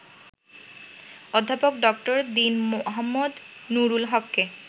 অধ্যাপক ডা. দীন মো. নুরুল হককে